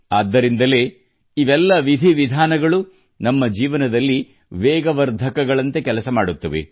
ಆದ್ದರಿಂದಲೇ ಇವೆಲ್ಲ ವಿಧಿ ವಿಧಾನಗಳು ನಮ್ಮ ಜೀವನದಲ್ಲಿ ವೇಗವರ್ಧಕಗಳಂತೆ ಕೆಲಸ ಮಾಡುತ್ತವೆ